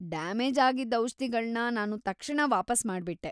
Damage ಆಗಿದ್ದ ಔಷ್ಧಿಗಳ್ನ ನಾನು ತಕ್ಷಣ ವಾಪಸ್‌ ಮಾಡ್ಬಿಟ್ಟೆ.